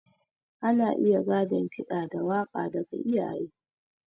Ana iya gadon ƙida da waka daga iyaye.